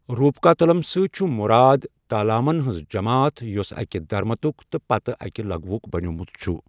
روپکا تلم سۭتۍ چھُ مُراد تالامن ہُنٛز جَماعت یُس اکہ دھرتمُک تہٕ پتہِ اکہ لغوُک بَنیٛومُت چھُ۔